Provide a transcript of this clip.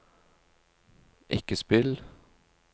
ikke spill